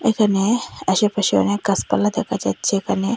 এখানে আশেপাশে অনেক গাছপালা দেখা যাচ্ছে এখানে।